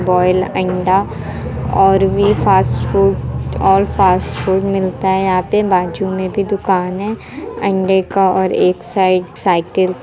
Boiled अंडा और भी फास्ट फूड और फ़ास्ट फ़ूड मिलता है यहाँ पे बाजू मे भी दुकान है। अंडे का और एक साइड साइकिल --